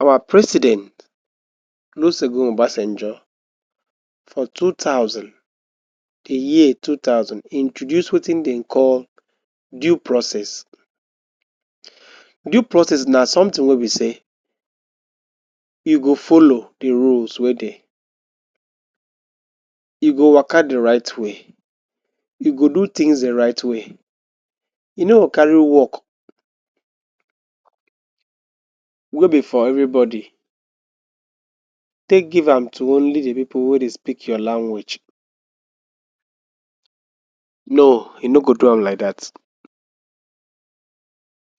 Our president lusegun obasenjo for two thousand, di year two thousand introduce wetin dem dey call due process. Due process na sometin wey be sey you go follow de ruels wey dey you go waka de right way you go do tins de right way you nor go carry work wey be for everybody take give am tu only di pipu wey dey speak your language. No you nor go do am like dat,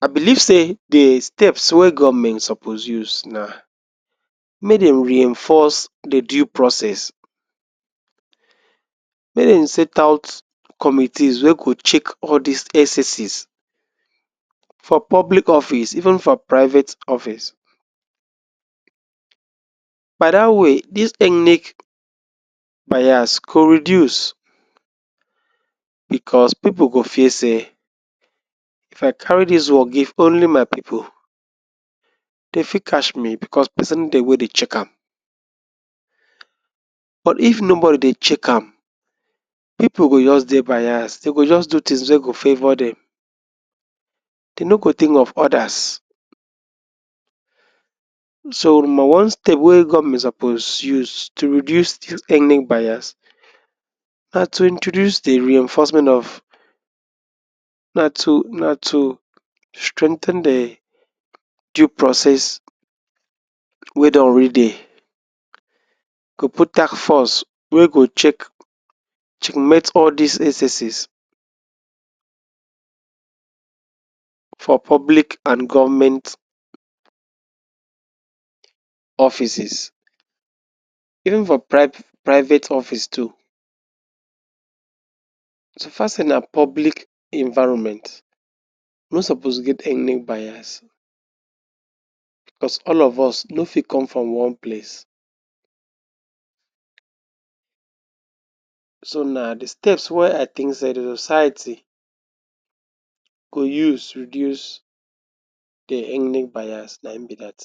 I biliv sey de steps wey government suppose use na mek dem reinforce de due process make dem set out committees wey go check all dis excesses for public office even for private office by da way dis ethnic bias go reduce bcos pipu go fear sey if I carry dis work give only my pipu dem fit catch me bcos pesin dey wey dey check am but if nobody dey check am pipu go just dey bias dey go just do tins wey go favour dem dem nor go tink of odas. So number one step wey government suppose use tu redue ethnic bias na tu introduce de reinforcement of na to na to strengthen de due process wey don alrey dey, go put task force wey go check, checkmate all dis excesses for public and government offices even for priv private office too. So far sey na public environment e nor suppose get any bias bcos all of us nor fi come from one place. So na de steps wey I tink sey de ociety go use reduce de ethnic bias na e be dat.